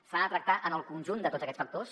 s’ha de tractar en el conjunt de tots aquests factors